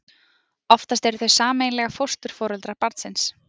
oftast eru þau sameiginlega fósturforeldrar barnsins